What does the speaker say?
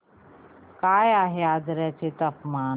काय आहे आजर्याचे तापमान